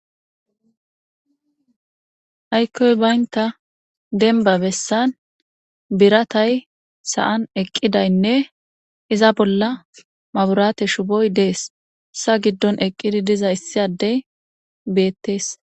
Aykkoy baynta demba bessan biratay sa7an eqqidaynne iza bolla maburate shuboy dees sa giddon eqqidi diza issiadey beettees